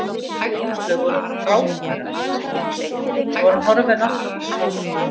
Þið Áslaug voruð frábærar hvíslaði hann, svo var hann horfinn aftur til Kókó.